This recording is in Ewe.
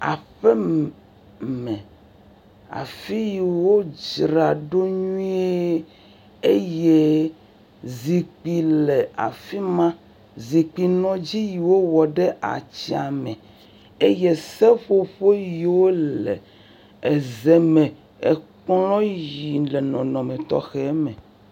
Aƒeme afi yi wodzraɖo nyui eye zikpui le afima zikpui nɔdzi yiwowɔ ɖe atsya me eye seƒoƒo yiwo le zeme kplɔ yiwo le nɔnɔme tɔxɛme